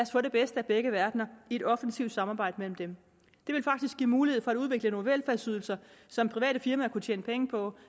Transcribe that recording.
få det bedste af begge verdener i et offensivt samarbejde mellem dem det vil faktisk give mulighed for at udvikle nogle velfærdsydelser som private firmaer kunne tjene penge på